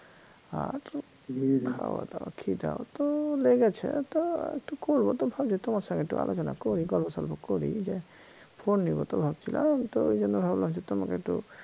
আর খাওয়া দাওয়া খিদাও তো লেগেছে তো একটু করব তা ভাবছি তোমার সাথে আলোচনা করি গল্প সল্প করি যে phone নিব তো ভাবছিলাম তো এইজন্য ভাবলাম যে তোমাকে একটু